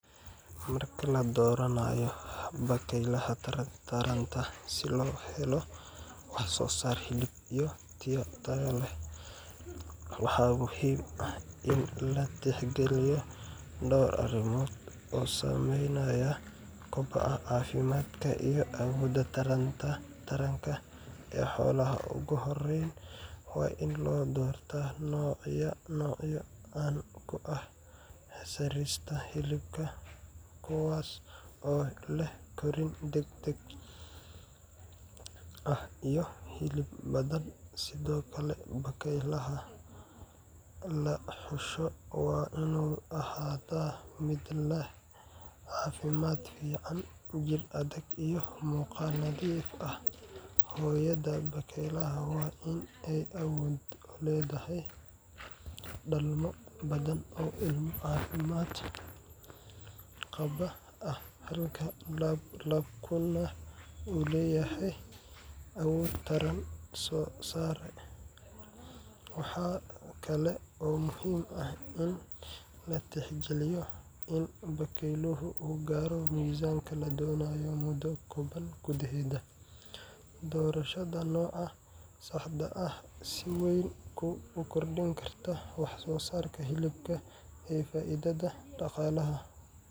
Marka la dooranayo bakaylaha taranta si loo helo wax-soo-saar hilib tayo leh, waxaa muhiim ah in la tixgeliyo dhowr arrimood oo saameynaya kobaca, caafimaadka iyo awoodda taranka ee xoolaha. Ugu horreyn, waa in la doortaa noocyo caan ku ah soo saarista hilibka, kuwaas oo leh korriin degdeg ah iyo hilib badan. Sidoo kale, bakaylaha la xusho waa inuu ahaadaa mid leh caafimaad fiican, jir adag, iyo muuqaal nadiif ah. Hooyada bakaylaha waa in ay awood u leedahay dhalmo badan oo ilmo caafimaad qaba ah, halka labkuna uu leeyahay awood taran oo sare. Waxaa kale oo muhiim ah in la tixgeliyo in bakayluhu uu gaaro miisaanka la doonayo muddo kooban gudaheed. Doorashada nooca saxda ah waxay si weyn u kordhin kartaa wax-soo-saarka hilibka iyo faa’iidada dhaqaalaha.